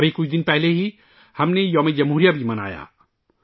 ابھی کچھ دن پہلے ہم نے یوم ِ جمہوریہ بھی منایا